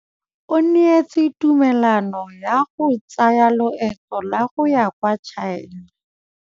O neetswe tumalanô ya go tsaya loetô la go ya kwa China.